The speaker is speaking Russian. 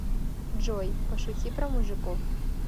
джой пошути про мужиков